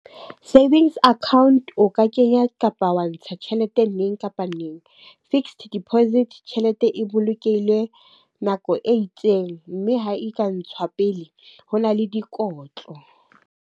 Savings account, o ka kenya kapa wa ntsha tjhelete neng kapa neng. Fixed deposit, tjhelete e bolokehile nako e itseng. Mme ha e ka ntshwa pele, ho na le dikotlo.